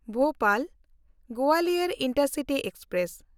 Bhopal-Gwalior intercity express